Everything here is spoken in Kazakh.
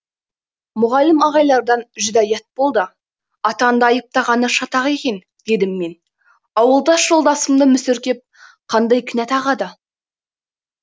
мұғалім ағайлардан жүдә ұят болды атаңды айыптағаны шатақ екен дедім мен ауылдас жолдасымды мүсіркеп қандай кінә тағады